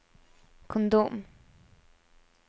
kondom